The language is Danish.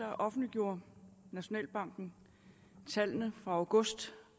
offentliggjorde nationalbanken tallene for august